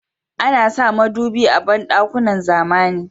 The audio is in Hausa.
Ana sa madubi a banɗukakn zamani.